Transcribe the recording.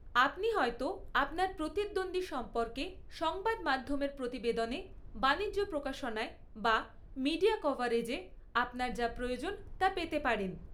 আপনি হয়তো আপনার প্রতিদ্বন্দ্বী সম্পর্কে সংবাদমাধ্যমের প্রতিবেদনে, বাণিজ্য প্রকাশনায় বা মিডিয়া কভারেজে আপনার যা প্রয়োজন তা পেতে পারেন।